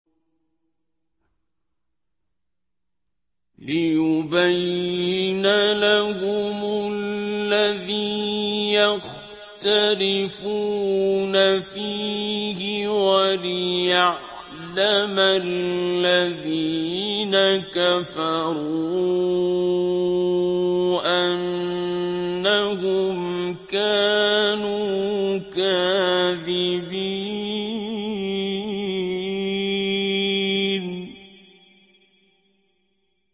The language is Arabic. لِيُبَيِّنَ لَهُمُ الَّذِي يَخْتَلِفُونَ فِيهِ وَلِيَعْلَمَ الَّذِينَ كَفَرُوا أَنَّهُمْ كَانُوا كَاذِبِينَ